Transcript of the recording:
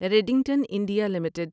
Redington India limited